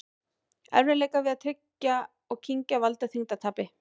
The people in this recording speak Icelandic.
Erfiðleikar við að tyggja og kyngja valda þyngdartapi.